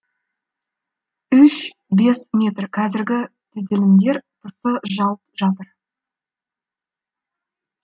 үш бес метр қазіргі түзілімдер тысы жауып жатыр